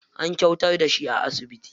An kwantar da shi a asibiti.